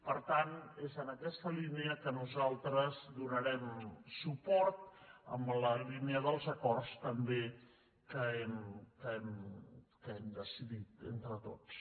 per tant és en aquesta línia que nosaltres hi donarem suport en la línia dels acords també que hem decidit entre tots